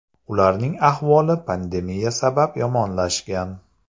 Ularning ahvoli pandemiya sabab yomonlashgan.